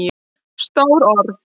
Stór orð?